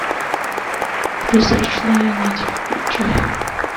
призрачная нить включай